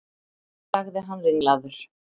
sagði hann ringlaður.